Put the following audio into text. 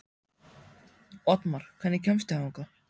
Oddmar, hvernig kemst ég þangað?